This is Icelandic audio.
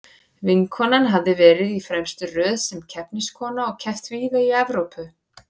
Vinkonan hafði verið í fremstu röð sem keppniskona og keppt víða í Evrópu.